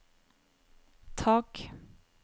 tak